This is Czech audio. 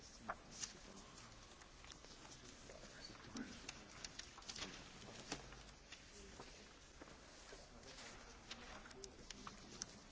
Vážená paní předsedkyně, vážení páni poslanci, vážené paní poslankyně, pokud jde o současný stav vývoje Společenství,